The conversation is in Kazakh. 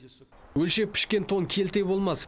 өлшеп пішкен тон келте болмас